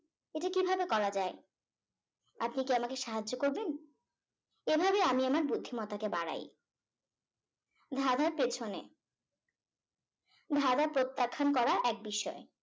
এটা কি ভাবে করা যায় আপনি কি আমাকে সাহায্য করবেন এভাবে আমি আমার বুদ্ধিমত্তা কে বাড়ায় ধাঁধার পেছনে ধাঁধা প্রত্যাখ্যান করা এক বিষয়